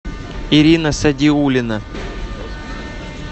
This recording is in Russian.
ирина садиулина